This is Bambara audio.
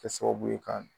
Kɛ sababu ye ka